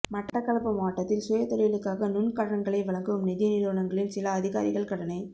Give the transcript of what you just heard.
மட்டக்களப்பு மாவட்டத்தில் சுய தொழிலுக்காக நுண்கடன்களை வழங்கும் நிதி நிறுவனங்களின் சில அதிகாரிகள் கடனை